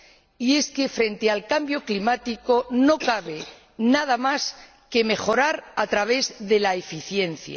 Y es que, frente al cambio climático, no cabe nada más que mejorar a través de la eficiencia.